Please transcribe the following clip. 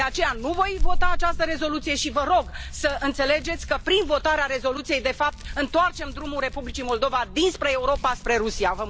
De aceea, nu voi vota această rezoluție și vă rog să înțelegeți că, prin votarea rezoluției, de fapt, întoarcem drumul Republicii Moldova dinspre Europa spre Rusia.